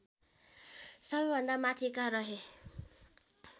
सबैभन्दा माथिका रहे